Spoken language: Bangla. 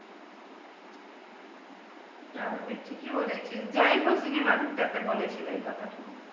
স্বাভাবিক ঠিকই বলেছিস, যাই হো তে